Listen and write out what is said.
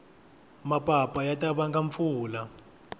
mapapa ya ta vanga mpfula